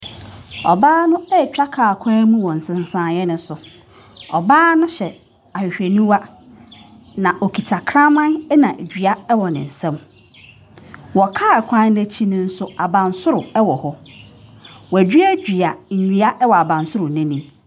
Ɔbaa no retwa kaa kwan mu wɔ nsensan no so. Ɔbaa no hyɛ ahwehwɛniwa, na ɔkita kraman na dua wɔ ne nsam. Wɔ kaa kwan no akyi no nso, abansoro wɔ hɔ. Wɔaduadua nnua wɔ abansoro no anim.